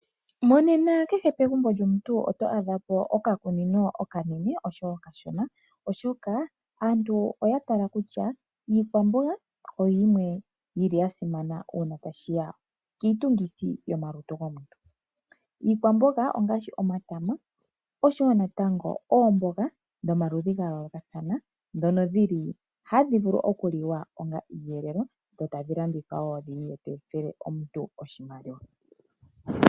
Monena kehe pegumbo lyomuntu oto adha po okakunino okanene oshowo okashona, oshoka aantu oya tala kutya iikwamboga oyimwe yili ya simana uuna tashi ya kiitungithi yomalutu gomuntu. Iikwamboga ongaashi omatama oshowo natango oomboga dhomaludhi ga yoolokathana ndhono dhili hadhi vulu oku liwa onga iiyelelwa, dho tadhi landithwa wo dhi vule dhi etele omuntu oshimaliwa.